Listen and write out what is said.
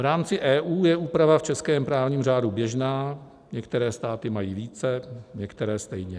V rámci EU je úprava v českém právním řádu běžná, některé státy mají více, některé stejně.